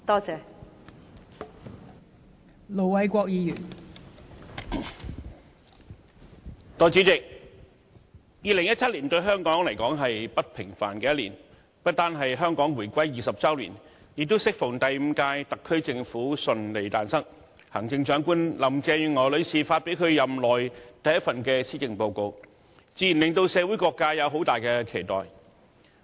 代理主席 ，2017 年對香港來說是不平凡的一年，不單是香港回歸20周年，亦適逢第五屆特區政府順利誕生，行政長官林鄭月娥女士發表其任內第一份施政報告，自然令社會各界有很大的期待。